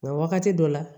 Nka wagati dɔ la